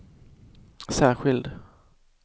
särskild